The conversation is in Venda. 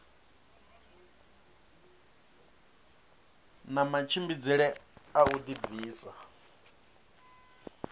na matshimbidzele a u dibvisa